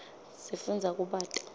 sifundza kubata